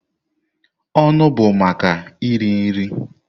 Ọnụ bụ maka iri nri.